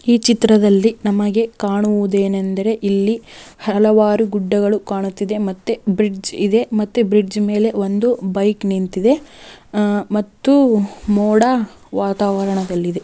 ಈ ಚಿತ್ರದಲ್ಲಿ ನಮಗೆ ಕಾಣುವುದೇನೆಂದರೆ ಹಲವಾರು ಗುಡ್ಡಗಳು ಕಾಣುತಿದ್ದಾವೆ ಮತ್ತೆ ಬ್ರಿಜ್ ಇದೆ ಮತ್ತೆ ಬ್ರಿಜ್ ಮೇಲೆ ಒಂದು ಬೈಕ್ ನಿಂತಿದೆ ಮತ್ತು ಮೋಡವಾತಾವರದಲ್ಲಿದೆ.